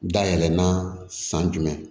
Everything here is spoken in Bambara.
Dayɛlɛ na san jumɛn